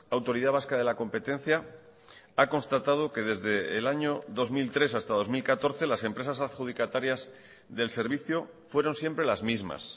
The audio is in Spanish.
autoridad vasca de la competencia ha constatado que desde el año dos mil tres hasta dos mil catorce las empresas adjudicatarias del servicio fueron siempre las mismas